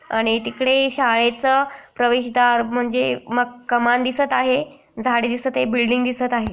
आणि तिकडे शाळेच प्रवेशद्वार म्हणजे मक कमान दिसत आहे झाडे दिसत आहे बिल्डिंग दिसत आहे.